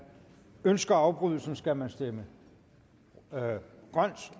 ønsker afbrydelsen skal man stemme grønt